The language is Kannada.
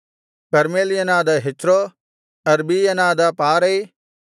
ಕರ್ಮೆಲ್ಯನಾದ ಹೆಚ್ರೋ ಅರ್ಬೀಯನಾದ ಪಾರೈ